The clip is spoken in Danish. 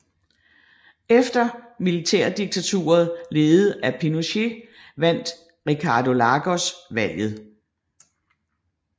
Efter militærdiktaturet ledet af Pinochet vandt Ricardo Lagos valget